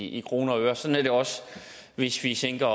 i kroner og øre sådan er det også hvis vi sænker